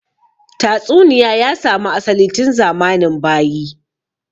Tatsuniya ya samu asali tun zamanin bayi